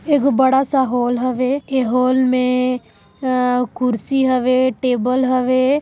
एक बड़ा सा होल हवे ए हाल में अ कुर्सी हवे टेबल हवे।